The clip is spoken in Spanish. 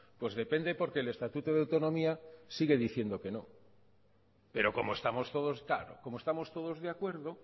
pues depende porque el estatuto de autonomía sigue diciendo que no pero como estamos todos claro como estamos todos de acuerdo